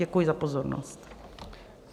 Děkuji za pozornost.